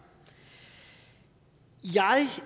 jeg